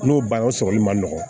N'o banna o sɔgɔli ma nɔgɔn